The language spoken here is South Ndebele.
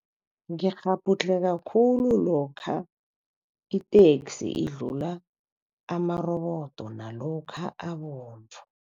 Ngikghabhudlheka khulu lokha iteksi idlula amarobodo nalokha abovu.